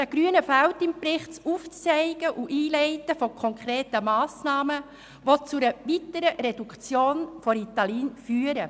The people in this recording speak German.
Den Grünen fehlt im Bericht das Aufzeigen und Einleiten konkreter Massnahmen, die zu einer weiteren Reduktion des Ritalinkonsums führen.